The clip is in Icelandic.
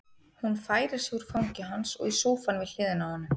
Hún færir sig úr fangi hans og í sófann við hliðina á honum.